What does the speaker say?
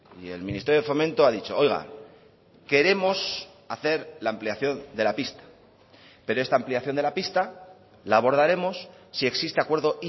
y el ministerio de fomento ha dicho oiga queremos hacer la ampliación de la pista pero esta ampliación de la pista la abordaremos si existe acuerdo